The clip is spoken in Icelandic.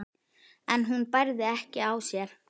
en hún bærði ekki á sér.